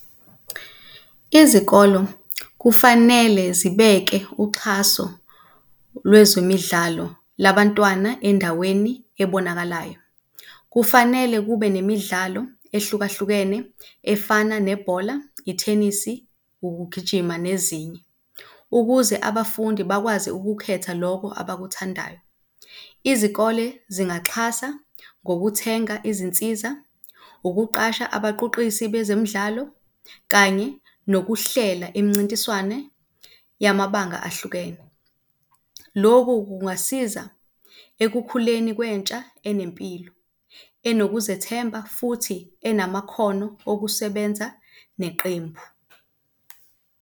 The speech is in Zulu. Izikolo kufanele zibeke uxhaso lwezemidlalo labantwana endaweni ebonakalayo. Kufanele kube nemidlalo ehlukahlukene efana nebhola, ithenisi, ukugijima nezinye ukuze abafundi bakwazi ukukhetha loko abakuthandayo. Izikole zingaxhasa ngokuthenga izinsiza, ukuqasha abaquqisi bezemidlalo kanye nokuhlela imincintiswane yamabanga ahlukene. Loku kungasiza ekukhuleni kwentsha enempilo, enokuzethemba, futhi enamakhono okusebenza neqembu.